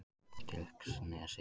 Dilksnesi